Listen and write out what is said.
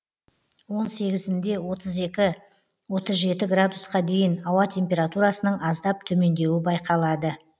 он сегізінде отыз екі отыз жеті градусқа дейін ауа температурасының аздап төмендеуі байқалады